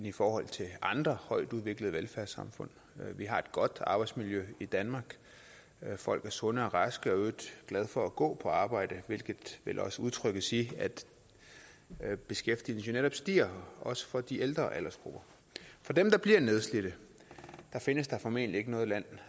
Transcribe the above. i forhold til andre højtudviklede velfærdssamfund vi har et godt arbejdsmiljø i danmark folk er sunde og raske og i øvrigt glade for at gå på arbejde hvilket vel også udtrykkes i at beskæftigelsen jo netop stiger også for de ældre aldersgrupper for dem der bliver nedslidt findes der formentlig ikke noget land